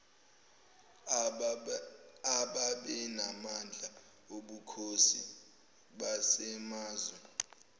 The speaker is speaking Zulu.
ababenamandla obukhosi basemazwe